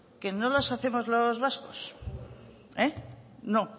que no las hacemos los vascos no